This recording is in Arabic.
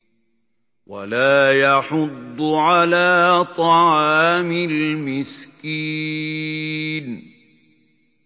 وَلَا يَحُضُّ عَلَىٰ طَعَامِ الْمِسْكِينِ